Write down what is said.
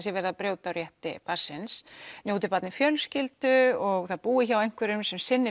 sé verið að brjóta á rétti barnsins njóti barnið fjölskyldu og það búi hjá einhverjum sem sinni